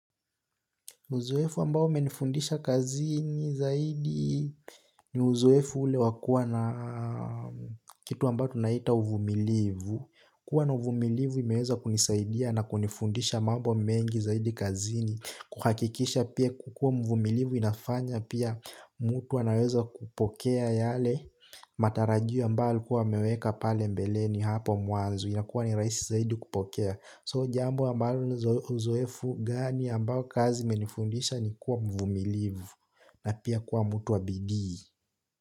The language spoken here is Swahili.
Uzoefu ambao umenifundisha kazini zaidi ni uzoefu ule wakua na kitu ambao tunaita uvumilivu. Kwa na uvumilivu imeweza kunisaidia na kunifundisha mambo mengi zaidi kazini. Kuhakikisha pia kukua mvumilivu inafanya pia mtu wanaweza kupokea yale matarajio ambao kuwa meweka pale mbeleni hapo muanzo. Inakuwa ni raisi zaidi kupokea. So jambo ambalo uzoefu gani ambayo kazi menifundisha ni kuwa mvumilivu na pia kuwa mutu wa bidii.